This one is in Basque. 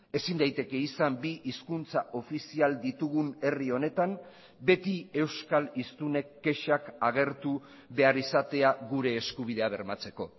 ezin daiteke izan bi hizkuntza ofizial ditugun herri honetan beti euskal hiztunek kexak agertu behar izatea gure eskubidea bermatzeko